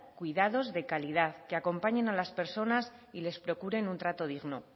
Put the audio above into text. cuidados de calidad que acompañen a las personas y les procuren un trato digno